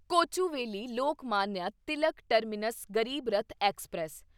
Kochuveli Lokmanya Tilak terminus Garib Rath express